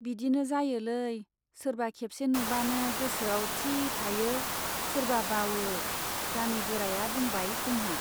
बिदिनो जायोलै , सोरबा खेबसे नुबानो गोसोआव थि थायो , सोरबा बावओ गामि गोराया बुंबाय जोंहा।